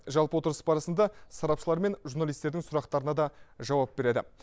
жалпы отырыс барысында сарапшылар мен журналистердің сұрақтарына да жауап береді